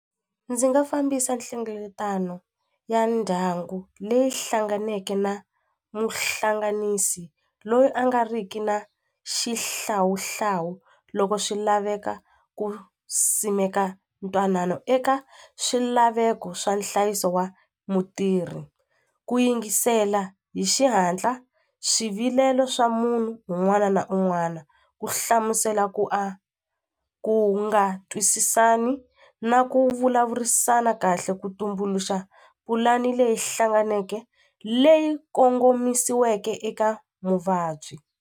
Ndzi nga fambisa nhlengeletano ya ndyangu leyi hlanganeke na muhlanganisi loyi a nga riki na xihlawuhlawu loko swi laveka ku simeka ntwanano eka swilaveko swa nhlayiso wa mutirhi ku yingisela hi xihatla swivilelo swa munhu un'wana na un'wana ku hlamusela ku a ku nga twisisani na ku vulavurisana kahle ku tumbuluxa pulani leyi hlanganeke leyi kongomisiweke eka muvabyi.